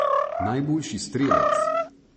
Najboljši strelec?